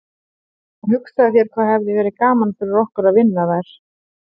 En hugsaðu þér hvað hefði verið gaman fyrir okkur að vinna þær.